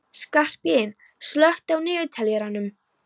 Skarphéðinn, slökktu á niðurteljaranum.